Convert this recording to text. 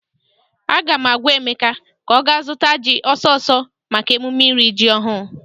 Aga m agwa Emeka ka ọ ga zụtara ji ọsọ ọsọ maka emume iri ji ọhụụ!